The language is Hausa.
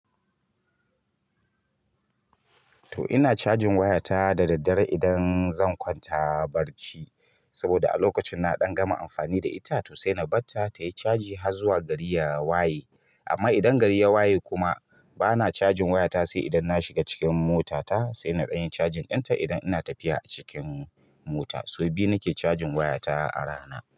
To ina cajin waya ta da daddare idan zan kwanta barci, saboda a lokacin na ɗan gama amfani da ita to sai na bar ta tayi caji har zuwa gari ya waye. Amma idan gari ya waye kuma bana cajin waya ta, sai idan na shiga cikin mota ta sai na ɗan yi cajin ta idan ina tafiya a cikin mota. Sau biyu nake cajin waya ta a rana.